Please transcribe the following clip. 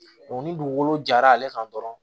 ni dugukolo jara ale kan dɔrɔn